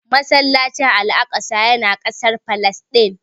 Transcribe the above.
Masallacin Al'aqsa ya na kasar Falasɗin